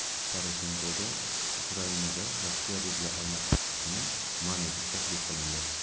Poroshenkoga Ukrainada Rossiya rubli almashtirilishini man etish taklif qilindi.